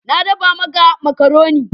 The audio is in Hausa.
Na dafa maka makaroni.